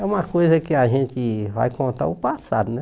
É uma coisa que a gente vai contar o passado, né?